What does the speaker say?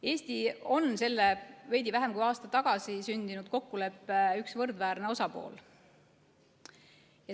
Eesti on selle veidi vähem kui aasta tagasi sündinud kokkuleppe üks võrdväärne osapool.